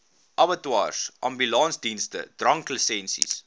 abattoirs ambulansdienste dranklisensies